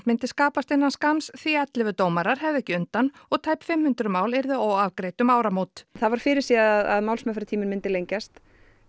myndi skapast innan skamms því ellefu dómarar hefðu ekki undan og tæp fimm hundruð mál yrðu óafgreidd um áramót það var fyrirséð að málsmeðferðartíminn myndi lengjast